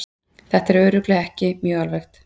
Þetta er örugglega ekki mjög alvarlegt.